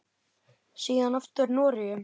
Síðan aftur í Noregi.